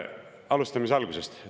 Alustan algusest.